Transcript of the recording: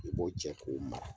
I b'o cɛ k'o o mara.